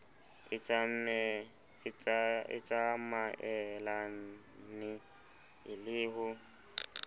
e tsamaelane e le ho